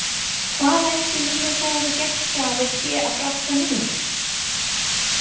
Hvað ætli mínir góðu gestgjafar séu að bralla núna?